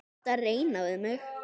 Ertu að reyna við mig?